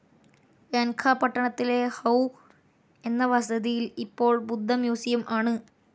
യാൻഖാ പട്ടണത്തിലെ ഹൌ എന്ന വസതിയിൽ ഇപ്പോൾ ബുദ്ധ മ്യൂസിയം ആണ്.